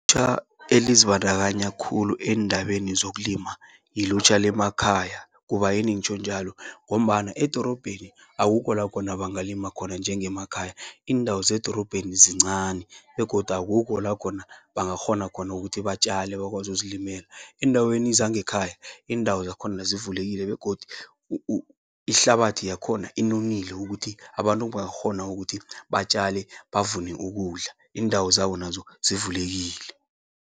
Elizibandakanya khulu endabeni zokulima, yilutjha lemakhaya. Kubayini ngitjho njalo, ngombana edorobheni akukho lakhona bangalima khona njenge emakhaya. Iindawo zedorobheni zincani, begodu akukho lakhona bangakghona khona ukuthi batjale, bakwazi ukuzilimela. Eendaweni zangekhaya, iindawo zakhona zivulekile, begodu ihlabathi yakhona inonile. Ukuthi abantu bangakghona ukuthi batjale, bavune ukudla, iindawo zabo nazo zivulekile.